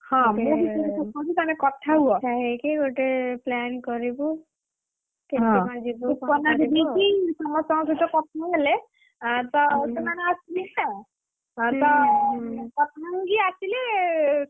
ହଁ ମୁଁ ବି ଚାହୁଁଛି, ତମେ କଥା ହୁଅ। ସୁପର୍ଣା ଦିଦି କି ସମସ୍ତଙ୍କ ସହିତ କଥାହେଲେ ଆଁ ତ ସେମାନେ ଆସିବେ ନା! ହଁ ତ କଥା ହେଇକି ଆସିଲେ,